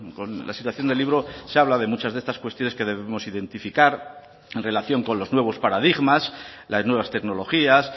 con la situación del libro se habla de muchas de estas cuestiones que debemos identificar en relación con los nuevos paradigmas las nuevas tecnologías